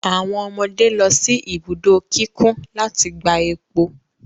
Awọn ọmọde lọ si ibudo kikun lati gba epo